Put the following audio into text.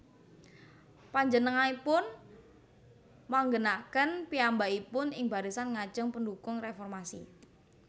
Panjenenganipun manggènaken piyambakipun ing barisan ngajeng pendhukung réformasi